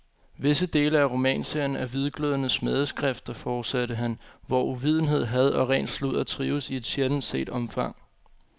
Visse dele af romanserien er hvidglødende smædeskrifter, fortsatte han, hvor uvidenhed, had og ren sludder trives i et sjældent set omfang.